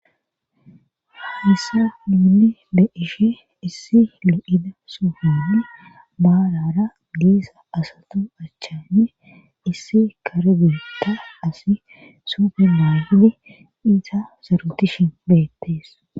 issa miili be ishe issi il7ida sufun baalara giisa asatu achchanne issi kare gutta asi superlahdi iza zarutishin beettees